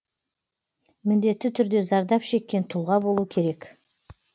міндетті түрде зардап шеккен тұлға болу керек